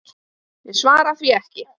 Ég svara því ekki.